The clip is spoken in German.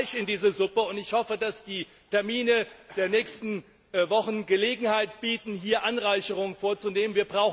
Es muss Fleisch in diese Suppe, und ich hoffe, dass die Termine der nächsten Wochen Gelegenheit bieten, hier Anreicherungen vorzunehmen.